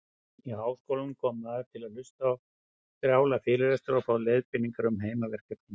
Í háskólann kom maður til að hlusta á strjála fyrirlestra og fá leiðbeiningar um heimaverkefni.